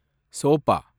sofa